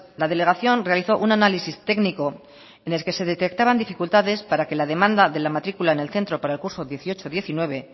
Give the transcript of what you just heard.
la delegación realizó una análisis técnico en el que se detectaban dificultades para que la demanda de la matrícula en el centro para el curso dieciocho diecinueve